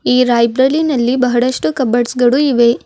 ಈ ಲೈಬ್ರರಿನಲ್ಲಿ ಬಹಳಷ್ಟು ಕಬೋರ್ಡ್ಸ್ ಗಳು ಇವೆ.